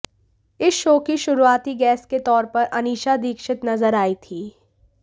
इस शो की शुरुआती गेस्ट के तौर पर अनीशा दीक्षित नजर आई थी